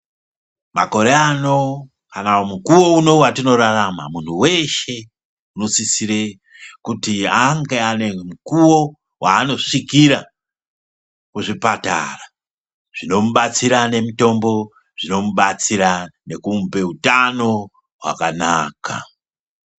Makore ano kana mukuwo uno watinorarama muntu weshe unosisire kuti ange ane mukuwo wanosvikira kuzvipatara, zvinomubatsira nemutombo zvinomubatsira nekumupe hutano hwakanaka.